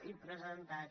i presentat